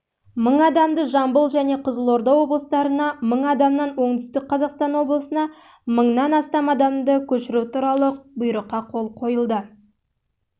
мың адамды жамбыл және қызылорда облыстарына мың адамнан оңтүстік қазақстан облысына мыңнан астам адамды көшіру